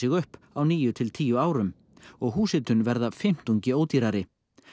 upp á níu til tíu árum og húshitun verða fimmtungi ódýrari